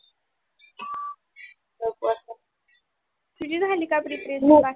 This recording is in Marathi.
no problem तुझी झाली का Preparation बाकी विषयांची.